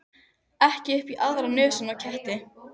Ekki upp í aðra nösina á ketti.